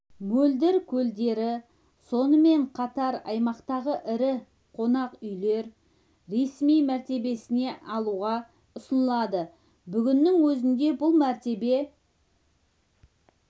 мөлдір көлдері сонымен қатараймақтағы ірі қонақ үйлер ресми мәртебесін алуға ұсынылады бүгіннің өзінде бұл мәртебе